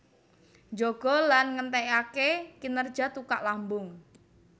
Njaga lan ngènthèngaké kinerja tukak lambung